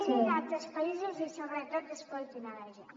mirin altres països i sobretot escoltin la gent